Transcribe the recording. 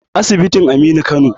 asibitin Aminu Kano